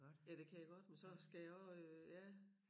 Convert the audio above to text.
Ja det kan jeg godt men så skal jeg også øh ja